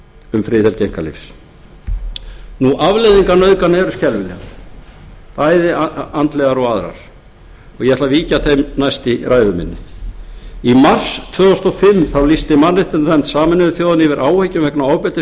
um friðhelgi einkalífs afleiðingar nauðgana eru skelfilegar bæði andlegar og aðrar ég ætla að víkja að þeim næst í ræðu minni í mars tvö þúsund og fimm lýsti mannréttindanefnd sameinuðu þjóðanna yfir áhyggjum vegna ofbeldis